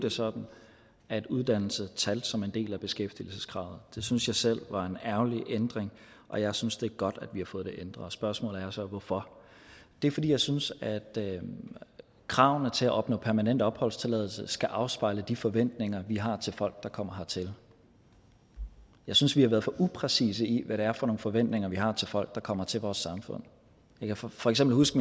det sådan at uddannelse talte som en del af beskæftigelseskravet det synes jeg selv var en ærgerlig ændring og jeg synes det er godt at vi har fået det ændret spørgsmålet er så hvorfor det er fordi jeg synes at kravene til at opnå permanent opholdstilladelse skal afspejle de forventninger vi har til folk der kommer hertil jeg synes vi har været for upræcise i hvad det er for nogle forventninger vi har til folk der kommer til vores samfund jeg kan for for eksempel huske